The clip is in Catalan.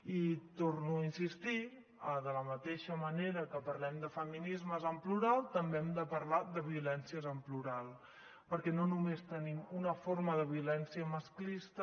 i torno a insistir de la mateixa manera que parlem de feminismes en plural també hem de parlar de violències en plural perquè no només tenim una forma de violència masclista